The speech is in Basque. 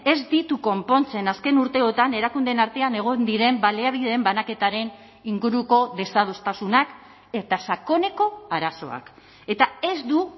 ez ditu konpontzen azken urteotan erakundeen artean egon diren baliabideen banaketaren inguruko desadostasunak eta sakoneko arazoak eta ez du